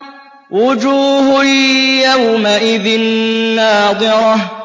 وُجُوهٌ يَوْمَئِذٍ نَّاضِرَةٌ